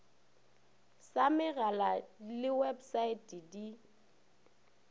sa megala le websaete di